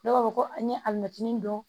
Dɔw b'a fɔ ko an ye alimɛtinin dɔn